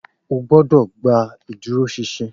O gbọ́dọ̀ gba ìdúróṣinṣin